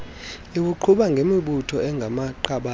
iwuqhuba ngemibutho engamaqabane